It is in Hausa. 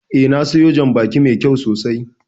Eh, na siyo jan baki mai kyau sosai